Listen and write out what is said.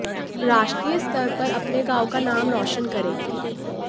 राष्ट्रीय स्तर पर अपने गांव का नाम रोशन करेंगे